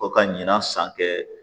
O ka ɲinan san kɛ